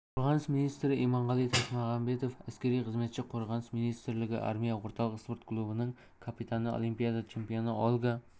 қорғаныс министрі иманғали тасмағамбетов әскери қызметші қорғаныс министрлігі армия орталық спорт клубының капитаны олимпиада чемпионы ольга